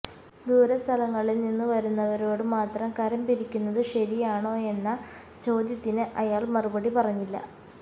ദൂരെ സ്ഥലങ്ങളിൽ നിന്നുവരുന്നവരോടു മാത്രം കരം പിരിക്കുന്നതു ശരിയാണോ എന്ന ചോദ്യത്തിന് അയാൾ മറുപടി പറഞ്ഞില്ല